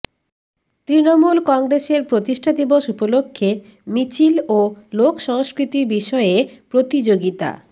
তৃণমূল কংগ্রেসের প্রতিষ্ঠা দিবস উপলক্ষ্যে মিছিল ও লোক সংস্কৃতি বিষয়ে প্রতিযোগিতা